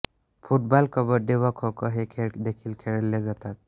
football kabaddi व खोखो हे खेळ देखील खेळल जातात